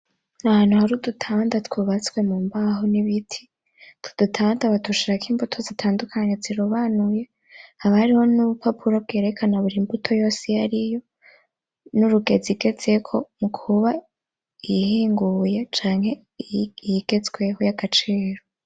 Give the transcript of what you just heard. Ahantu hari udutanda twubatswe mumbaho n'ibiti utu dutanda badushirako imbuto zitandukanye zirobanuye haba hariho n'ubupapuro bwerekana burimbuto yose iyariyo n'urugezo igezeko mukuba iyinguye canke iyigezweko yagaciro.